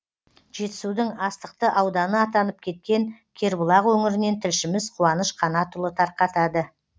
жетісудың астықты ауданы атанып кеткен кербұлақ өңірінен тілшіміз қуаныш қанатұлы тарқатады